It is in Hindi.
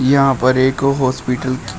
यहां पर एक हॉस्पिटल --